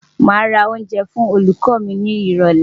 Màá ra oúnjẹ fún olùkọ́ mi ni ìrọ̀lẹ́.